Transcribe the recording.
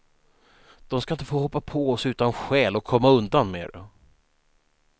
De ska inte få hoppa på oss utan skäl och komma undan med det.